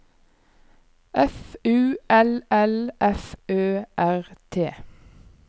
F U L L F Ø R T